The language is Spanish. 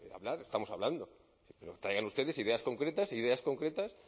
hablar estamos hablando pero traigan ustedes ideas concretas ideas concretas